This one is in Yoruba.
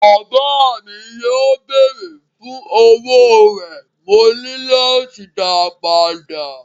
Bàbá mi yóò béèrè fún owó rẹ̀, mo ní láti dáa padà.